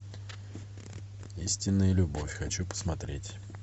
истинная любовь хочу посмотреть